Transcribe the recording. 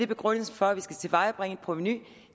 begrundelsen for at vi skal tilvejebringe et provenu